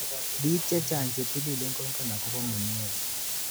bik chechang chetililen kongen akobo mnyeni.